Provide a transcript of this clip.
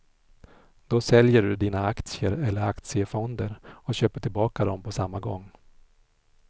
Då säljer du dina aktier eller aktiefonder och köper tillbaka dem på samma gång.